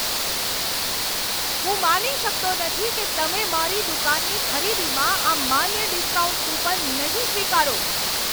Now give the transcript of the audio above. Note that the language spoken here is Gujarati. હું માની શકતો નથી કે તમે મારી દુકાનની ખરીદીમાં આ માન્ય ડિસ્કાઉન્ટ કૂપન નહીં સ્વીકારો.